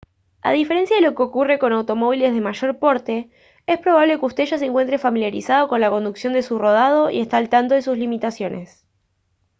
a diferencia de lo que ocurre con automóviles de mayor porte es probable que usted ya se encuentre familiarizado con la conducción de su rodado y esté al tanto de sus limitaciones